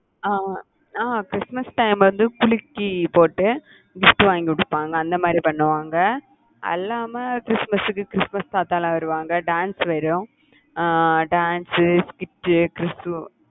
அஹ் ஆஹ் Christmas time வந்து குலுக்கி போட்டு gift வாங்கி கொடுப்பாங்க, அந்த மாதிரி பண்ணுவாங்க. அல்லாம கிறிஸ்துமஸ்க்கு கிறிஸ்துமஸ் தாத்தாலாம் வருவாங்க. dance வரும் ஆஹ் dance உ gift உ